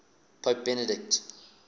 pope benedict